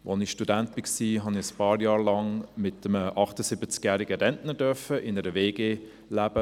Als ich Student war, durfte ich ein paar Jahre lang mit einem 78-jährigen Rentner in einer WG leben.